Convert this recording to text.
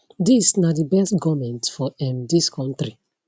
dis na di best goment for um dis kontri